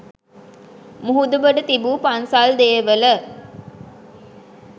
මුහුදුබඩ තිබු පන්සල් දේවල